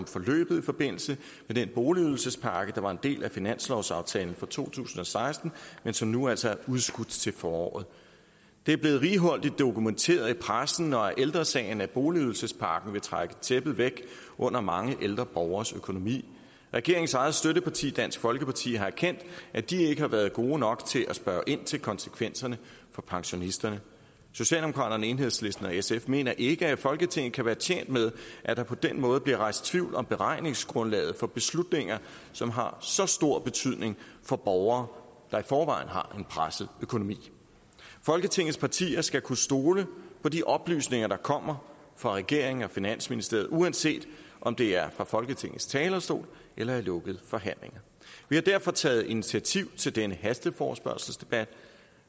forløbet i forbindelse med den boligydelsespakke der var en del af finanslovsaftalen for to tusind og seksten men som nu altså er udskudt til foråret det er blevet righoldigt dokumenteret i pressen og af ældre sagen at boligydelsespakken vil trække tæppet væk under mange ældre borgeres økonomi regeringens eget støtteparti dansk folkeparti har erkendt at de ikke har været gode nok til at spørge ind til konsekvenserne for pensionisterne socialdemokraterne enhedslisten og sf mener ikke folketinget kan være tjent med at der på den måde bliver rejst tvivl om beregningsgrundlaget for beslutninger som har så stor betydning for borgere der i forvejen har en presset økonomi folketingets partier skal kunne stole på de oplysninger der kommer fra regeringen og finansministeriet uanset om det er fra folketingets talerstol eller i lukkede forhandlinger vi har derfor taget initiativ til denne hasteforespørgselsdebat